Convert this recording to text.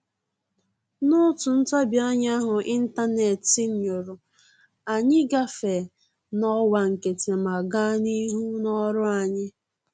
N'otu ntabianya ahụ ịntanetị nyụrụ, anyị gafee n'ọwa nkịtị ma gaa n'ihu n'ọrụ anyị